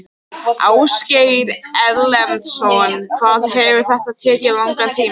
Ásgeir Erlendsson: Hvað hefur þetta tekið langan tíma?